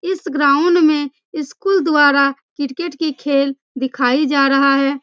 इस ग्राउंड में स्कूल द्वारा क्रिकेट के खेल दिखाई जा रहा है।